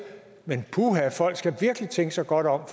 men puha folk skal virkelig tænke sig godt om